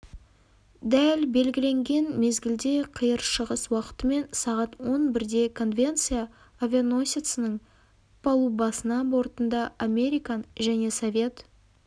дәл белгіленген мезгілде қиыр шығыс уақытымен сағат он бірде конвенция авианосецінің палубасына бортында американ және совет